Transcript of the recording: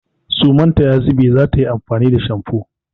Suman ta ya zube za ta yi amfani da shamfo.